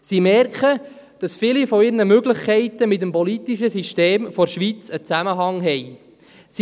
Sie merken, dass viele ihrer Möglichkeiten mit dem politischen System der Schweiz einen Zusammenhang haben.